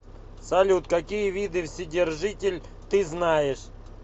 салют какие виды вседержитель ты знаешь